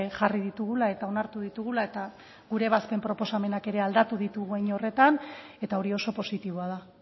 jarri ditugula eta onartu ditugula eta gure ebazpen proposamenak ere aldatu ditugu hein horretan eta hori oso positiboa da